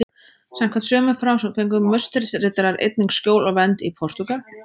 Samkvæmt sömu frásögn fengu Musterisriddarar einnig skjól og vernd í Portúgal.